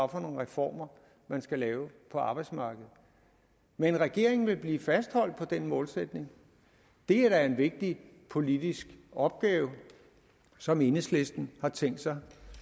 reformer man skal lave på arbejdsmarkedet men regeringen vil blive fastholdt på den målsætning det er da en vigtig politisk opgave som enhedslisten har tænkt sig